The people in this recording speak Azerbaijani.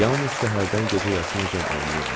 Yalnız səhərdən gecə yarısınacan oynayırlar.